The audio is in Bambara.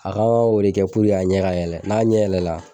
A kan k'o le kɛ puruke a ɲɛ ka yɛlɛ n'a ɲɛ yɛlɛ la